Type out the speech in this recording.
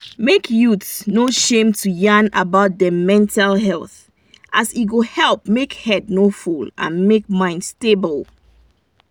make youths no shame to yan about them mental health as e go help make head no full and make mind stable